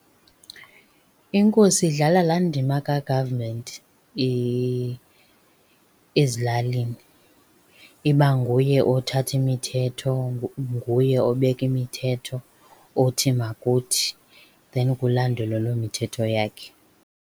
Inkosi idlala laa ndima ka-government ezilalini. Iba nguye othatha imithetho, nguye obeka imithetho othi makuthi then kulandelwe loo mithetho yakhe.